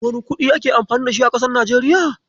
Wane kuɗi ake amfani da shi a kasar Nijeriya?